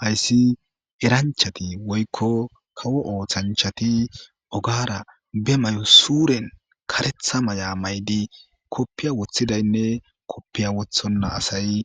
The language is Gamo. Hatis eranchati woyko kawo osanchati ogara be mayo suuren karetha maya mayid kopiya wothidayinne kopiya wothona asayi